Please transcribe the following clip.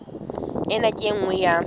ena ke e nngwe ya